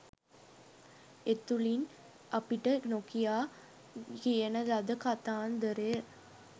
එතුලින් අපිට නොකියා කියන ලද කතාන්දරය